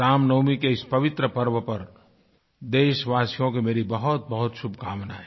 रामनवमी के इस पवित्र पर्व पर देशवासियों को मेरी बहुतबहुत शुभकामनाएँ